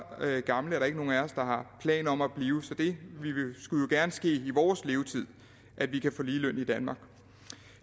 gammel er der jo ikke nogen af os der har planer om at blive så det skulle jo gerne ske i vores levetid at vi kan få ligeløn i danmark